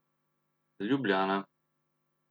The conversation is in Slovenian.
Ljubljana.